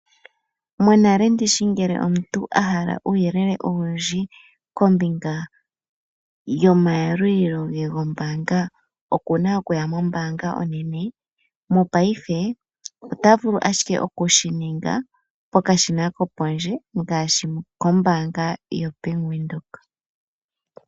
Monale ndishi ngele omuntu a hala uuyelele owundji kombinga yomayalulilo gombaanga, okuna okuya mombaanga onene. Mopaife otavulu ashike okushininga pokashina kopondje ngaashi kombaanga yoBank Windhoek.